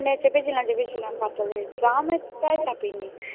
চেপে ছিলাম, চেপে ছিলাম পাতাল রেল, ট্রামের টায় চাপিনি।